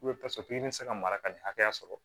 i bɛ se ka mara ka nin hakɛya sɔrɔ